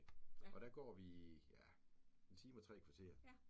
Og der går vi ja 1 time og 3 kvarter